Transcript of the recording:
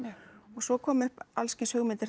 og svo koma upp alls kyns hugmyndir